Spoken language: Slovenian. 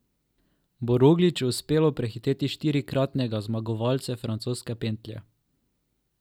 Bo Rogliču uspelo prehiteti štirikratnega zmagovalce francoske pentlje?